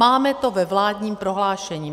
Máme to ve vládním prohlášení.